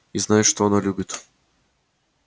и знает что она любит